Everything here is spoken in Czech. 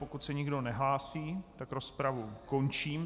Pokud se nikdo nehlásí, tak rozpravu končím.